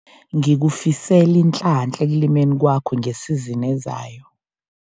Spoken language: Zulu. Ngikufisela inhlanhla ekulimeni kwakho ngesizini ezayo.